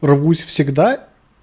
рвусь всегда